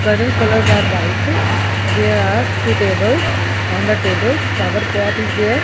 curtain colours are white there are two tables on the tables flower pot is there.